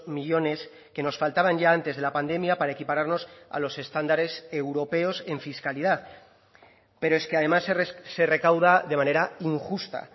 millónes que nos faltaban ya antes de la pandemia para equipararnos a los estándares europeos en fiscalidad pero es que además se recauda de manera injusta